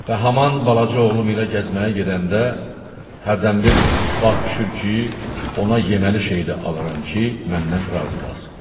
Və haman balaca oğlum ilə gəzməyə gedəndə hərdən bir ittifaq düşür ki, ona yeməli şey də alaram ki, məndən razı qalsın.